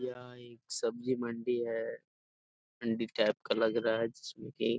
यह एक सब्जी मंडी हैं मंडी टाइप का लग रहा हैं जिसमें की --